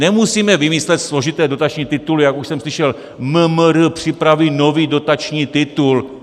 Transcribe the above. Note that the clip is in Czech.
Nemusíme vymýšlet složité dotační tituly, jak už jsem slyšel - MMR připraví nový dotační titul.